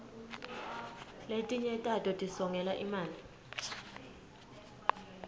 letinye tato tisongela imali